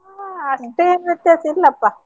ಹಾ ಅಷ್ಟೇನು ವ್ಯತ್ಯಾಸ ಇಲ್ಲಪ್ಪಾ.